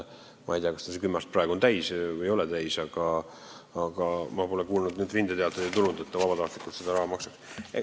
Ma ei tea, kas tal see kümme aastat praegu on täis või ei ole täis, aga ma pole kuulnud – enam rindeteateid pole tulnud –, et ta vabatahtlikult seda raha maksaks.